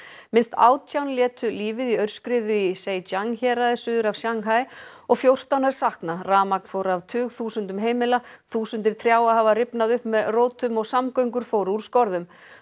minnst átján létu lífið í aurskriðu í Seiijang héraði suður af Shanghai og fjórtán er saknað rafmagn fór af tugþúsundum heimila þúsundir trjáa hafa rifnað upp með rótum og samgöngur fóru úr skorðum